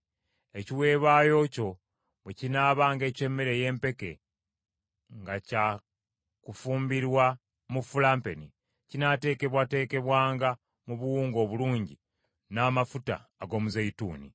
Ekiweebwayo kyo bwe kinaabanga eky’emmere ey’empeke nga kyakufumbirwa mu fulampeni, kinaateekebwateekebwanga mu buwunga obulungi n’amafuta ag’omuzeeyituuni.